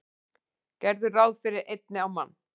Gerðu ráð fyrir einni á mann.